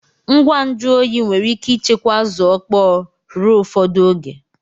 Ngwa nju oyi nwere ike ichekwa Azu okpo ruo ufodu oge